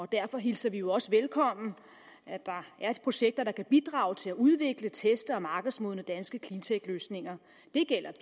derfor hilser vi jo også velkommen at der er projekter der kan bidrage til at udvikle teste og markedsmodne danske cleantechløsninger det gælder